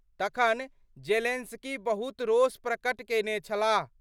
तखन जेलेंस्की बहुत रोष प्रकट केने छलाह।